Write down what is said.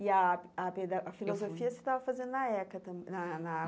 E a a peda a filosofia eu fui você estava fazendo na ECA também na na.